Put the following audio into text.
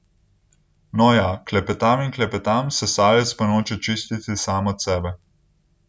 No, ja, klepetam in klepetam, sesalec pa noče čistiti sam od sebe.